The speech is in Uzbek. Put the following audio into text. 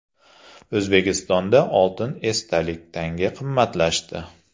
O‘zbekistonda oltin esdalik tanga qimmatlashdi.